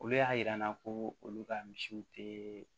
Olu y'a yira n na ko olu ka misiw te